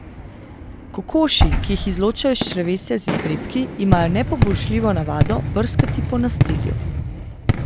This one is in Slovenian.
Kokoši, ki jih izločajo iz črevesja z iztrebki, imajo nepoboljšljivo navado brskati po nastilju.